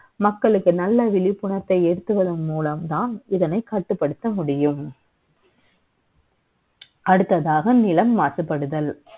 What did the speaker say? மக்களுக்கு நல்ல விழிப்புணர்வை ஏற்படுத்துவதன் மூலம் தான் இதனை கட்டுப்படுத்த முடியும் அடுத்ததாக நிலம் மாசுபடுதல்